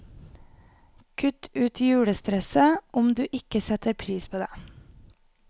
Kutt ut julestresset, om du ikke setter pris på det.